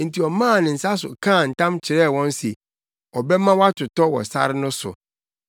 Enti ɔmaa ne nsa so kaa ntam kyerɛɛ wɔn se ɔbɛma wɔatotɔ wɔ sare no so,